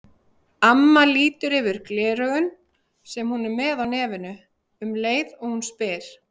Amma lítur yfir gleraugun, sem hún er með á nefinu, um leið og hún spyr.